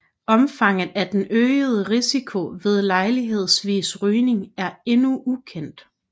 Omfanget af den øgede risiko ved lejlighedsvis rygning er endnu ukendt